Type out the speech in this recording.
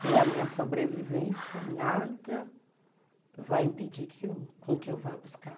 Se é a minha sobrevivência, nada vai impedir com que eu vá buscar.